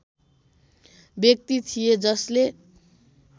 व्यक्ति थिए जसले